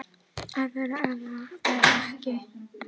Að vera eða vera ekki